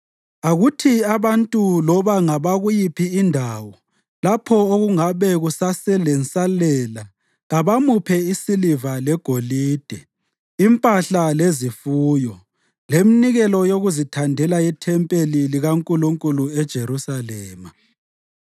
Akuthi abantu loba ngabakuyiphi indawo lapho okungabe kuseselensalela kabamuphe isiliva legolide, impahla lezifuyo, leminikelo yokuzithandela yethempeli likaNkulunkulu eJerusalema.’ ”